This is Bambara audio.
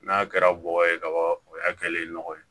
N'a kɛra bɔgɔ ye kaban o y'a kɛlen nɔgɔ ye